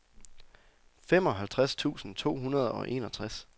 femoghalvtreds tusind to hundrede og enogtres